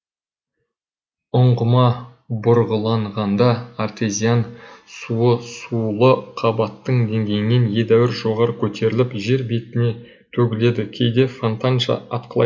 ұңғыма бұрғыланғанда артезиан суы сулы қабаттың деңгейінен едәуір жоғары көтеріліп жер бетіне төгіледі кейде фонтанша атқылайды